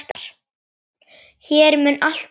Hún mun alltaf vera hér.